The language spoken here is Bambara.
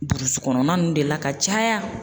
Burusi kɔnɔna ninnu de la ka caya